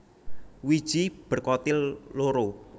Wiji berkotil loro